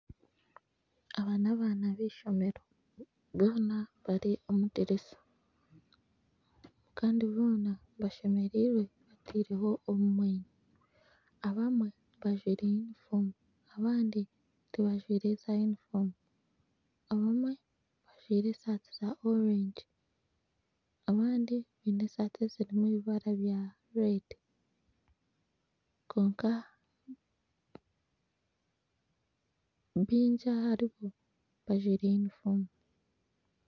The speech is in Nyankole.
Aba n'abaana b'eishomero boona bari omu dirisa, kandi boona bashemereirwe bariho obumwenyo. Abamwe bajwaire yunifoomu abandi tibajwaire zaayunifoomu. Abamwe bajwaire esaati za orengi, abandi baine esaati ezirimu ebibara bya reedi. Kwonka, baingi aharibo bajwaire yunifoomu.